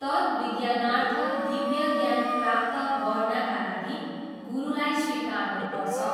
तद् विज्ञानार्थ दिव्य ज्ञान प्राप्त गर्नाका लागि गुरुलाई स्वीकार्नुपर्छ।